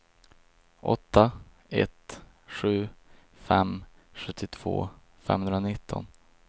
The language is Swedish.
åtta ett sju fem sjuttiotvå femhundranitton